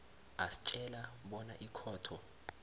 asitjela bona ikhotho